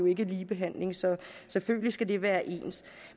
ikke ligebehandling så selvfølgelig skal det være ens